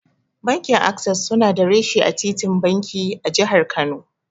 Bankin Ases suna da reshe a titin banki, a Jihar Kano.